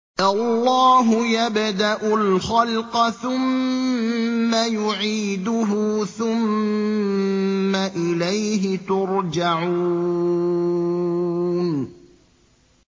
اللَّهُ يَبْدَأُ الْخَلْقَ ثُمَّ يُعِيدُهُ ثُمَّ إِلَيْهِ تُرْجَعُونَ